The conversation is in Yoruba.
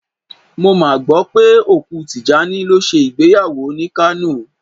Mo mà gbọ́ pé òkú Tìjání lọ ṣe ìgbéyàwó ni Kánò.